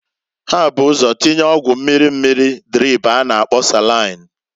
Ha bu ụzọ tinya ọgwụ mmiri mmiri drip a na-akpo salain.